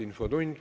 Infotund.